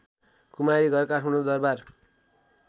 Kumari Ghar Kathmandu Darbar